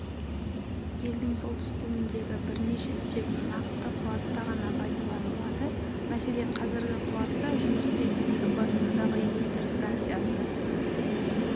елдің солтүстігіндегі бірнеше тек нақты қуатта ғана пайдаланылады мәселен қазір қуатта жұмыс істейтін екібастұздағы электр станциясы